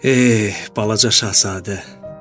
Eh, balaca şahzadə.